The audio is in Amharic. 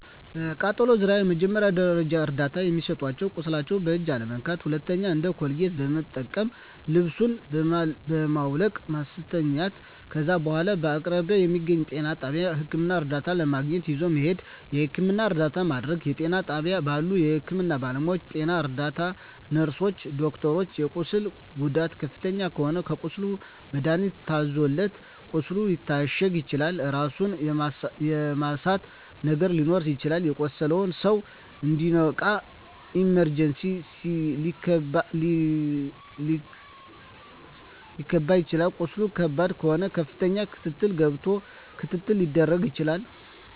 በቃጠሎ ዙሪያ መጀመሪያ ደረጃ እርዳታ የሚሰጠዉ ቁስሉን በእጅ አለመንካት ሁለተኛዉ እንደ ኮልጌት መጠቀም ልብሱን በማዉለቅ ማስተኛት ከዛ በኋላ በአቅራቢያዎ በሚገኘዉ ጤና ጣቢያ ህክምና እርዳታ ለማግኘት ይዞ መሄድ የህክምና እርዳታ ማድረግ በጤና ጣቢያ ባሉ የህክምና ባለሞያዎች ጤና ረዳት ነርስሮች ዶክተሮች የቁስሉ ጉዳት ከፍተኛ ከሆነ ለቁስሉ መድሀኒት ታዞለት ቁስሉ ሊታሸግ ይችላል ራስን የመሳት ነገር ሊኖር ይችላል የቆሰለዉ ሰዉ እንዲነቃ ኢመርጀንሲ ሊከባ ይችላል ቁስሉ ከባድ ከሆነ ከፍተኛ ክትትል ገብቶ ክትትል ሊደረግ ይችላል